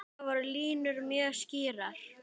Þar voru línur mjög skýrar.